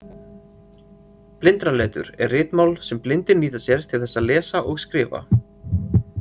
Blindraletur er ritmál sem blindir nýta sér til þess að lesa og skrifa.